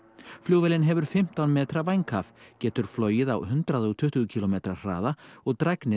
flugvélin hefur fimmtán metra vænghaf getur flogið á hundrað og tuttugu kílómetra hraða og